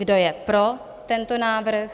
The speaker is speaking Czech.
Kdo je pro tento návrh?